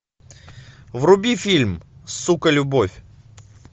вруби фильм сука любовь